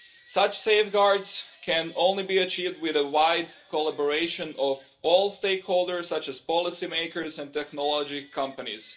Such safeguards can only be achieved with a wide collaboration of all stakeholders such as policymakers and technology companies.